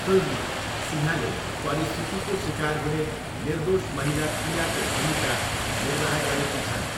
फिल्ममा सिन्हाले परिस्थितिको सिकार हुने निर्दोष महिला पियाको भूमिका निर्वाह गरेकी छन्।